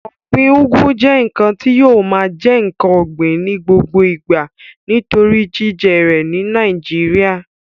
Ọ̀gbin ugu jẹ́ ǹkan tí yóò máa jẹ́ ǹkan ògbìn ní gbogbo ìgbà torí jíjẹ rẹ̀ ní nàìjíría